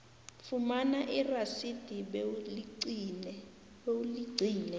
fumana irasidi bewuligcine